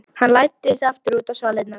Hann læddist aftur út á svalirnar.